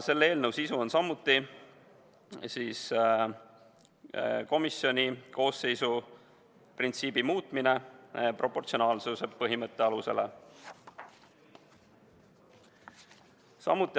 Selle eelnõu sisu on samuti komisjoni koosseisu moodustamise printsiibi muutmine, lähtudes proportsionaalsuse põhimõttest.